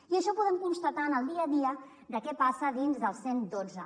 i això ho podem constatar en el dia a dia de què passa dins del cent i dotze